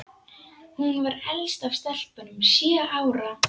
Hún var elst af stelpunum, sjö ára.